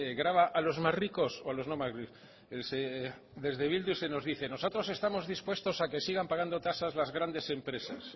grava a los más ricos o a los no más ricos desde bildu se nos dice nosotros estamos dispuestos a que sigan pagando tasas las grandes empresas